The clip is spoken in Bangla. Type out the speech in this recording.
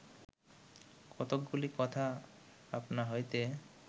কতকগুলি কথা আপনা হইতে